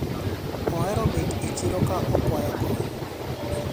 ohero bet e chiro ka okwayo kony